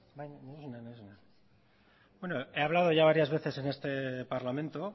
he hablado ya varias veces en este parlamento